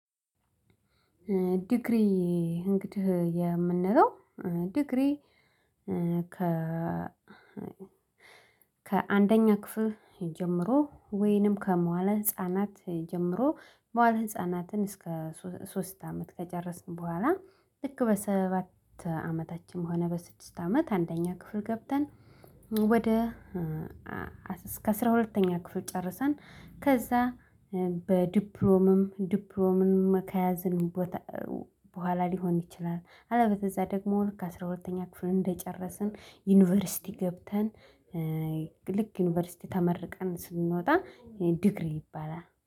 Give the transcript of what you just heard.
ዲግሪ እንግዲህ የምንለው ዲግሪ ከ ከአንደኛ ክፍል ጀምሮ ወይንም ከመዋለ ህፃናት ጀምሮ ማህል ህፃናትን እስከ ሶስት አመት ከጨረስን በኋላ ልክ በሰባት አመታችን ሆነ በስድስት አመት አንደኛ ክፍል ገብተን ወደ እስከ አስራ ሁለተኛ ክፍል ጨርሰን ከዛ በዲፕሮምም ዲፕሮምም ከያዝን በኋላ ሊሆን ይችላል አለበለዛ ደግሞ ልክ አስራ ሁለተኛ ክፍል እንደጨረስን ዩኒቨርሲቲ ገብተን ልክ ዩኒቨርሲቲ ተመርቀን ስንወጣ ዲግሪ ይባላል